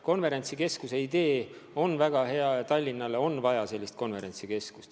Konverentsikeskuse idee on väga hea ja Tallinnale on vaja korralikku konverentsikeskust.